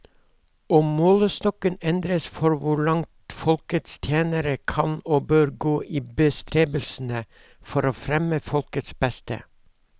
Og målestokken endres for hvor langt folkets tjenere kan og bør gå i bestrebelsene for å fremme folkets beste.